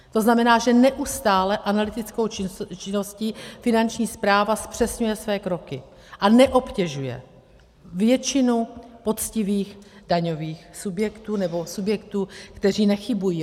To znamená, že neustálou analytickou činností Finanční správa zpřesňuje své kroky a neobtěžuje většinu poctivých daňových subjektů, nebo subjektů, které nechybují.